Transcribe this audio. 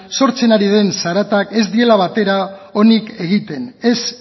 sortzen ari den zaratak ez diela batere onik egiten ez